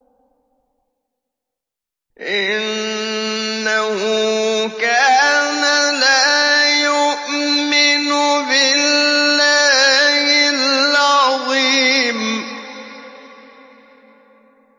إِنَّهُ كَانَ لَا يُؤْمِنُ بِاللَّهِ الْعَظِيمِ